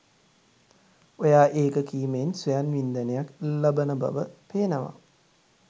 ඔයා ඒක කීමෙන් ස්වයන් වින්දනයක් ල්ලබන බව පේනවා